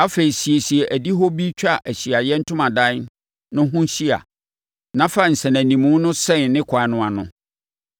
Afei, siesie adihɔ bi twa Ahyiaeɛ Ntomadan no ho hyia na fa nsɛnanimu no sɛn ne kwan no ano.